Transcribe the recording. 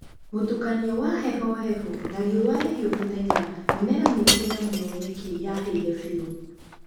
Mũtukanio wa heho hehu na rĩũ rĩhiũ mũthenya, mĩmera mĩingĩ na mũno nyeki yahĩire biũ.